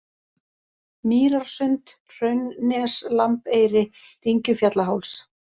Mýrarsund, Hraunnes, Lambeyri, Dyngjufjallaháls